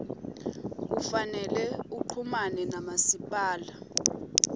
kufanele uchumane namasipala